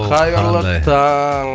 қайырлы таң